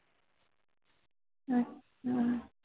ਅੱਛਾ